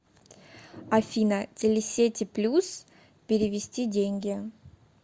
афина телесети плюс перевести деньги